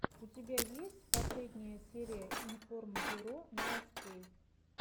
у тебя есть последняя серия информбюро новостей